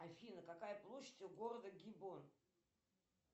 афина какая площадь у города гибон